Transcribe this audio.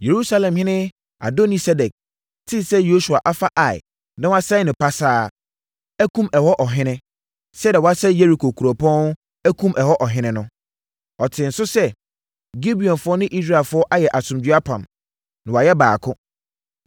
Yerusalemhene Adoni-Sedek tee sɛ Yosua afa Ai na wasɛe no pasaa, akum ɛhɔ ɔhene, sɛdeɛ wasɛe Yeriko kuropɔn akum ɛhɔ ɔhene no. Ɔtee nso sɛ Gibeonfoɔ ne Israelfoɔ ayɛ asomdwoeɛ apam, na wɔayɛ baako.